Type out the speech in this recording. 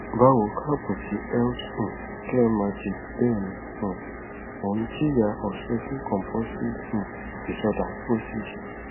báwo kaabo si health um care magic bẹẹni um ó ń jìyà obsessive compulsive um disorder ocd